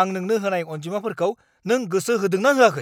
आं नोंनो होनाय अनजिमाफोरखौ नों गोसो होदों ना होआखै?